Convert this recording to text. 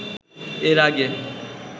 এর আগে